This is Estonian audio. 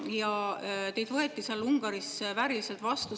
Ja teid võeti Ungaris vääriliselt vastu.